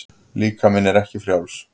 Líkaminn er ekki frjáls.